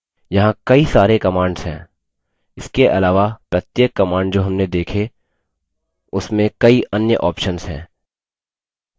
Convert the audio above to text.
यहाँ कई सारी commands हैं इसके अलावा प्रत्येक commands जो हमने देखी उसमें कई अन्य options हैं